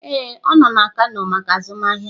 Ee, ọ nọ na kano maka azụmahịa